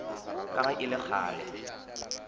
ka ge e le kgale